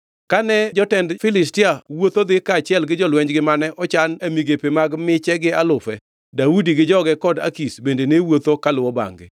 Kane jotend Filistia wuotho dhi kaachiel gi jolwenjgi mane ochan e migepe mag miche gi alufe, Daudi gi joge kod Akish bende ne wuotho kaluwo bangʼ-gi.